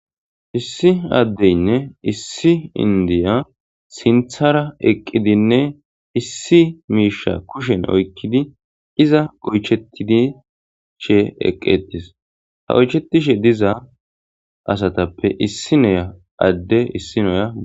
Issi addeynne issi indiya sinthara eqqidinne issi miisha kushen oykkidi iza oychetidi shee eqqetis ha oychetishe diza asatappe issi noya adde issi noya.